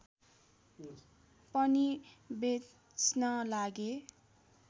पनि बेच्न लागे